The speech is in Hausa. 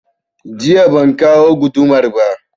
Jiya ban kawo gudumar ba